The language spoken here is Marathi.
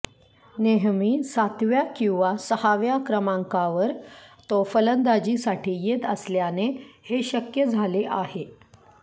नेहमी सातव्या किंवा सहाव्या क्रमांकावर तो फलंदाजीसाठी येत असल्याने हे शक्य झाले आहे